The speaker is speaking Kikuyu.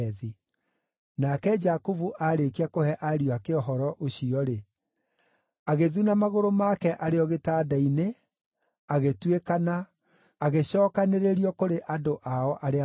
Nake Jakubu aarĩkia kũhe ariũ ake ũhoro ũcio-rĩ, agĩthuna magũrũ make arĩ o gĩtanda-inĩ, agĩtuĩkana, agĩcookanĩrĩrio kũrĩ andũ ao arĩa maakuĩte.